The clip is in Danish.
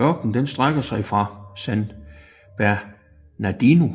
Ørkenen strækker sig fra San Bernardino